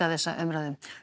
þessa umræðu